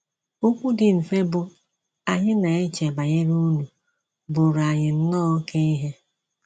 Okwu dị mfe bụ́ “ Anyị na - eche banyere unu ” bụụrụ anyị nnọọ oké ihe!